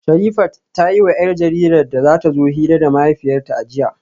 Sherifat ta yiwa 'yar jaridar da ta zo hira da mahaifiyarta a jiya